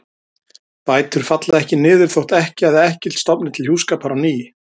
Bætur falla ekki niður þótt ekkja eða ekkill stofni til hjúskapar á ný.